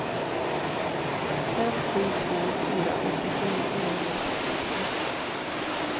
fem sju två fyra åttiosju niohundrasextiotre